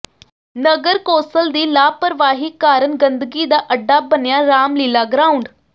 ਨਗਰ council ਦੀ ਲਾਪਰਵਾਹੀ ਕਾਰਨ ਗੰਦਗੀ ਦਾ ਅੱਡਾ ਬਣਿਆ ਰਾਮ ਲੀਲ੍ਹਾ ਗਰਾਊਾਡ